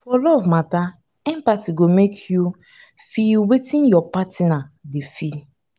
for love matter empathy go make you make you feel wetin your partner dey feel